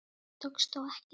Það tókst þó ekki.